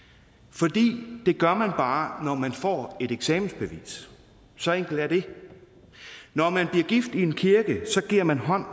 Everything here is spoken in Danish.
fordi det gør man bare når man får et eksamensbevis så enkelt er det når man bliver gift i en kirke giver man hånd